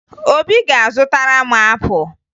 Obi ga-azụtara m apụ